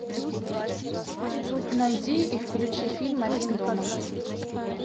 найди и включи фильм один дома